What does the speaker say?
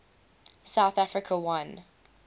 south africa won